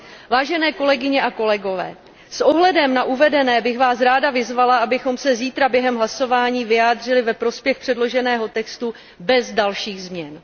Vážené kolegyně a kolegové, s ohledem na uvedené bych vás ráda vyzvala, abychom se zítra během hlasování vyjádřili ve prospěch předloženého textu bez dalších změn.